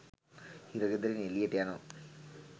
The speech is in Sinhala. හිරගෙදරින් එලියට යනවා.